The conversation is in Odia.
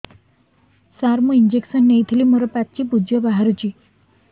ସାର ମୁଁ ଇଂଜେକସନ ନେଇଥିଲି ମୋରୋ ପାଚି ପୂଜ ବାହାରୁଚି